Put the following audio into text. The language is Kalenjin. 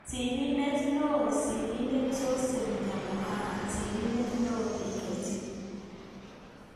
Sirindet neoo Sirindet Joseph Nyamuhanga. Sirindet neoo-Dkt